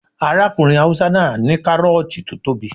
Arákùnrin haúsá náà ní kárọ̀ọ̀tì tó tóbi